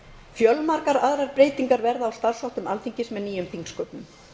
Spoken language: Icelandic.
fjölmargar aðrar breytingar verða í starfsháttum alþingis með nýjum þingsköpum